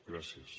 gràcies